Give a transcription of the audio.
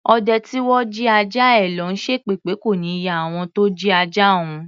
Ọdẹ tí wọ́n jí ajá ẹ lọ̀ ló ń ṣépè pé kò ní yẹ àwọn tó jí ajá òun.